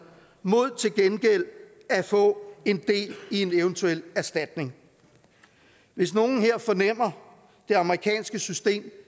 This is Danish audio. mod til gengæld at få en del i en eventuel erstatning hvis nogen her fornemmer det amerikanske system